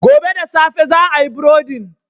Gobe da safe za a yi burodin.